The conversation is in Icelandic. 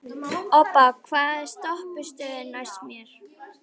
Obba, hvaða stoppistöð er næst mér?